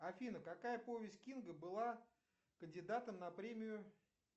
афина какая повесть кинга была кандидатом на премию